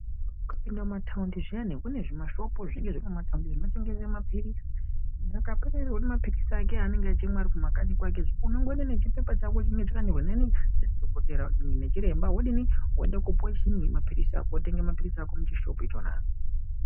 Ukapinda mumataundi zviyani kune zvimashop zvinenge zviri mumataundi zvinotengesa mapilizi, muntu akapererwa nemapilizi ake anenge achimwa ari kumakanyi kwakezve unongoenda nechipepa chako chinonga chakanyorwa naDhokodheya neChiremba wodini woende kopiwe chimwe wotenge mapilizi ako muchishopu ichona.